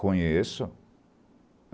Conheço.